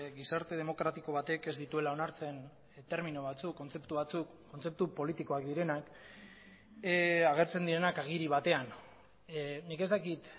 gizarte demokratiko batek ez dituela onartzen termino batzuk kontzeptu batzuk kontzeptu politikoak direnak agertzen direnak agiri batean nik ez dakit